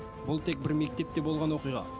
бұл тек бір мектепте болған оқиға